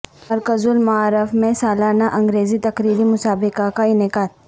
مرکز المعارف میں سالانہ انگریزی تقریری مسابقے کا انعقاد